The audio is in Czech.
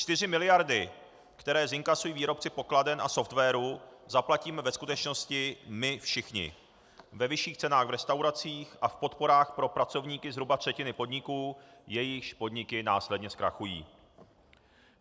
Čtyři miliardy, které zinkasují výrobci pokladen a softwaru, zaplatíme ve skutečnosti my všichni ve vyšších cenách v restauracích a v podporách pro pracovníky zhruba třetiny podniků, jejichž podniky následně zkrachují.